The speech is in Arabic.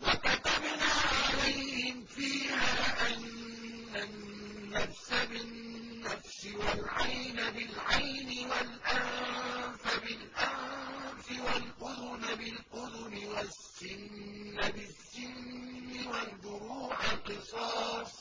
وَكَتَبْنَا عَلَيْهِمْ فِيهَا أَنَّ النَّفْسَ بِالنَّفْسِ وَالْعَيْنَ بِالْعَيْنِ وَالْأَنفَ بِالْأَنفِ وَالْأُذُنَ بِالْأُذُنِ وَالسِّنَّ بِالسِّنِّ وَالْجُرُوحَ قِصَاصٌ ۚ